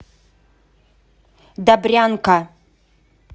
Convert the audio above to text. добрянка